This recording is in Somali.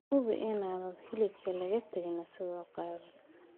Hubi inaan hilibka laga tegin isagoo qaawan.